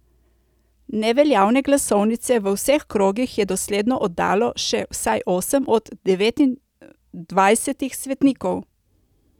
Neveljavne glasovnice v vseh krogih je dosledno oddalo še vsaj osem od devetindvajsetih svetnikov.